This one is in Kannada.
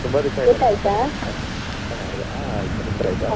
ಆ ತುಂಬಾ ದಿವ್ಸ ಆಯ್ತಲ್ಲ ಹಾ ಆಯ್ತು ನಿಮ್ದಾಯ್ತಾ?